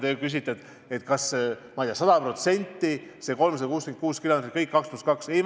Te küsite, kas minu arvates sada protsenti kõik need 366 kilomeetrit peavad olema 2 + 2 lahendus.